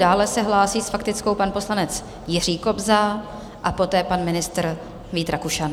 Dále se hlásí s faktickou pan poslanec Jiří Kobza a poté pan ministr Vít Rakušan.